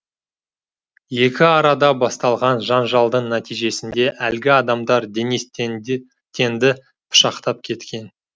екі арада басталған жанжалдың нәтижесінде әлгі адамдар денис тенді пышақтап кеткен